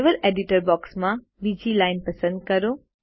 level editor બોક્સમાં બીજી line પસંદ કરો